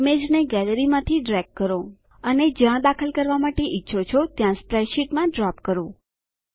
ઈમેજને ગેલેરી માંથી ડ્રેગ કરો અને જ્યાં દાખલ કરવા માટે ઈચ્છો છો ત્યાં સ્પ્રેડશીટમાં ડ્રોપ કરો